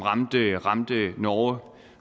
ramte norge